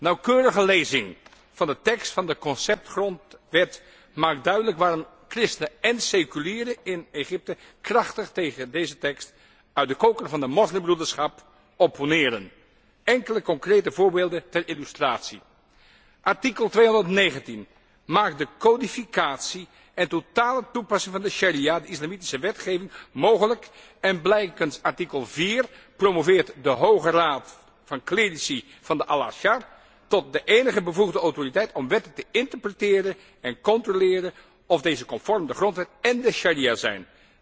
Nauwkeurige lezing van de tekst van de conceptgrondwet maakt duidelijk waarom christenen en seculieren in Egypte krachtig tegen deze tekst uit de koker van de moslimbroederschap opponeren. Enkele concrete voorbeelden ter illustratie Artikel 219 maakt de codificatie en totale toepassing van de sharia, de islamitische wetgeving, mogelijk en blijkens artikel 4 promoveert de hoge raad van clerici van de Al Azhar tot de enige bevoegde autoriteit om wetten te interpreteren en te controleren of deze conform de grondwet en de sharia zijn.